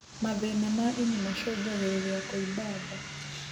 Mathĩna ma ini macũngagĩrĩrĩa kũimba ndaa